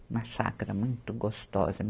Uma chácara muito gostosa.